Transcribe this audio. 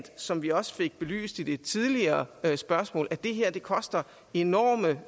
som vi også fik belyst i et tidligere spørgsmål at det her koster enorme